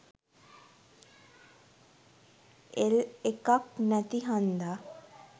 L එකක් නැති හන්ද